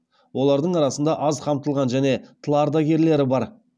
олардың арасында аз қамтылған және тыл ардагерлері бар